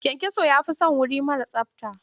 Kyankyaso ya fi son wuri mara tsabta.